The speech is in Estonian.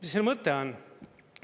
Mis selle mõte on?